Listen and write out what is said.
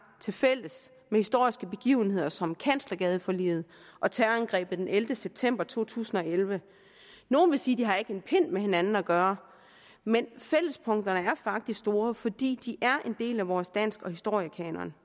til fælles med historiske begivenheder som kanslergadeforliget og terrorangrebet den ellevte september 2001 nogle vil sige det har en pind med hinanden at gøre men fællespunkterne er faktisk store fordi de er en del af vores dansk og historiekanon